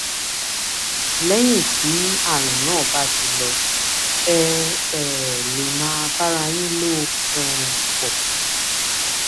lẹyìn tí ààrùn náà bá ti lọ ẹ um lè bá ara yín lò um pọ